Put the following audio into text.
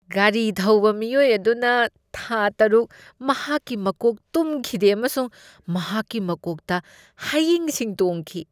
ꯒꯥꯔꯤ ꯊꯧꯕ ꯃꯤꯑꯣꯏ ꯑꯗꯨꯅ ꯊꯥ ꯇꯔꯨꯛ ꯃꯍꯥꯛꯀꯤ ꯃꯀꯣꯛ ꯇꯨꯝꯈꯤꯗꯦ ꯑꯃꯁꯨꯡ ꯃꯍꯥꯛꯀꯤ ꯃꯀꯣꯛꯇ ꯍꯌꯤꯡꯁꯤꯡ ꯇꯣꯡꯈꯤ꯫